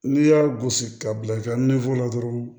N'i y'a gosi ka bila i ka la dɔrɔn